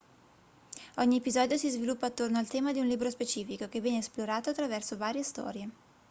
ogni episodio si sviluppa attorno al tema di un libro specifico che viene esplorato attraverso varie storie